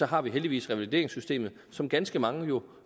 har vi heldigvis revalideringssystemet som ganske mange jo